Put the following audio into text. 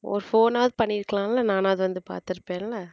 ஒரு phone ஆவது பண்ணி இருக்கலாம் இல்ல நானாவது வந்து பார்த்திருப்பேன்ல.